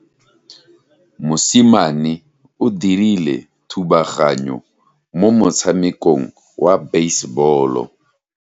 Mosimane o dirile thubaganyo mo motshamekong wa basebolo.